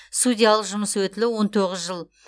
судьялық жұмыс өтілі он тоғыз жыл